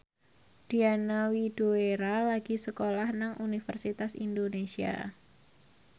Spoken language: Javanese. Diana Widoera lagi sekolah nang Universitas Indonesia